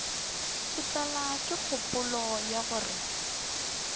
tlelwa ke kgopolo ya gore